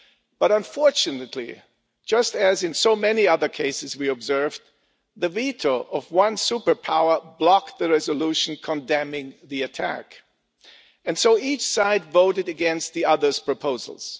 But unfortunately, just as in so many other cases we have observed, the veto of one superpower blocked the resolution condemning the attack, and so each side voted against the other's proposals.